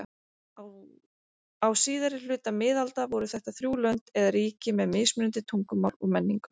Á síðari hluta miðalda voru þetta þrjú lönd eða ríki með mismunandi tungumál og menningu.